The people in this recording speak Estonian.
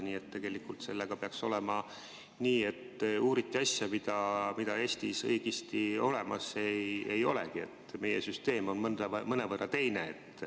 Nii et tegelikult sellega peaks olema nii, et uuriti asja, mida Eestis olemas ei olegi, sest meie süsteem on mõnevõrra teine.